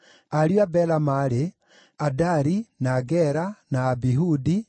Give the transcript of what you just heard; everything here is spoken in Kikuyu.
Ariũ a Bela maarĩ: Adari, na Gera, na Abihudi,